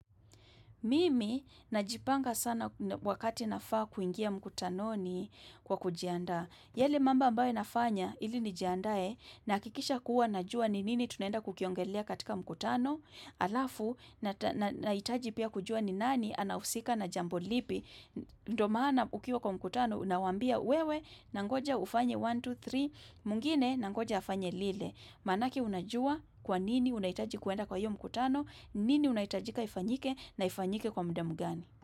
Mimi, najipanga sana wakati nafaa kuingia mkutanoni kwa kujiandaa. Yale mambo ambayo nafanya, ili nijiandae, nahakikisha kuwa najua ni nini tunenda kukiongelea katika mkutano, halafu, nahitaji pia kujua ni nani, anahusika na jambo lipi. Ndio maana ukiwa kwa mkutano, unawambia, "wewe, nangoja ufanye 1, 2, 3, mwngine, nangoja afanye lile." Manake unajua kwa nini unahitaji kwenda kwa hiyo mkutano, ni nini unahitajika ifanyike na ifanyike kwa mudu gani.